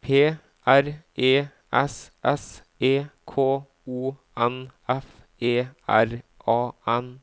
P R E S S E K O N F E R A N